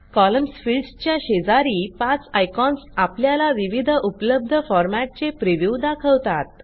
columns फिल्डसच्या शेजारी पाच आयकॉन्स आपल्याला विविध उपलब्ध फॉरमॅटचे प्रिव्ह्यू दाखवतात